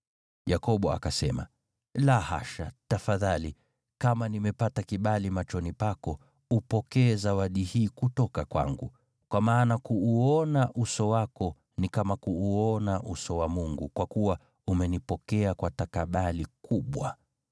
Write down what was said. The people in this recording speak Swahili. Yakobo akasema, “La hasha! Tafadhali, kama nimepata kibali machoni pako, upokee zawadi hii kutoka kwangu. Kwa maana kuuona uso wako, ni kama kuuona uso wa Mungu, kwa kuwa umenipokea kwa takabali kubwa.